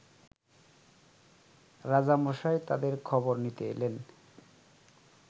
রাজামশাই তাদের খবর নিতে এলেন